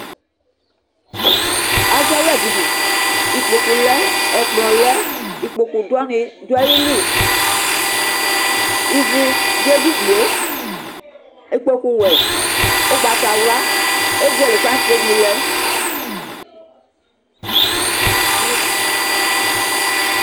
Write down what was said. Azawlaɖini, ikpóku lɛ, ɛkplɔ lɛ, ikpóku wani ɖu ayili Iʋu ɖu ɛɖini yɛ Ikpóku wɛ, ugbatawlã Ezele flasenu lɛ